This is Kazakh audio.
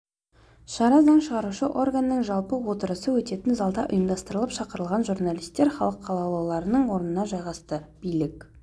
шара заң шығарушы органның жалпы отырысы өтетін залда ұйымдастырылып шақырылған журналистер халық қалаулыларының орнына жайғасты билік